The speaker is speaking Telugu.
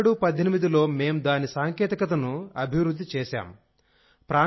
201718లో మేం దాని సాంకేతికతను అభివృద్ధి చేశాం